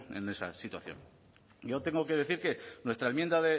en esa situación yo tengo que decir que nuestra enmienda